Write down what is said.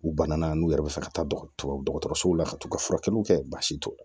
U banana n'u yɛrɛ bɛ fɛ ka taa dɔgɔtɔrɔsow la ka t'u ka furakɛliw kɛ baasi t'u